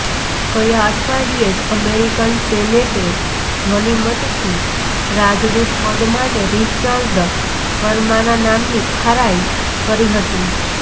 ગયા અઠવાડીયે જ અમેરિકન સેનેટે ધ્વનિમતથી રાજદૂત પદ માટે રિચર્ડ વર્માના નામની ખરાઇ કરી હતી